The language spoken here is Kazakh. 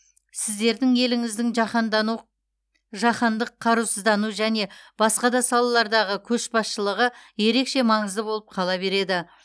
сіздердің еліңіздің жаһандану жаһандық қарусыздану және басқа да салалардағы көшбасшылығы ерекше маңызды болып қала береді